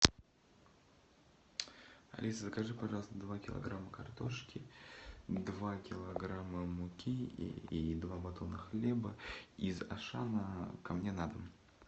алиса закажи пожалуйста два килограмма картошки два килограмма муки и два батона хлеба из ашана ко мне на дом